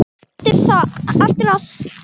Eftir að